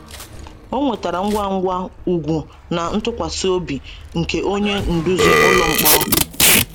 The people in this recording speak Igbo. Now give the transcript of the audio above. O nwetara ngwa ngwa ùgwù na ntụkwasị obi nke onye nduzi ụlọ mkpọrọ.